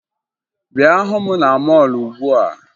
Bịa hụ m na mọọlụ ugbua!